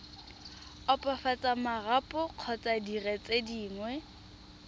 opafatsa marapo kgotsa dire dingwe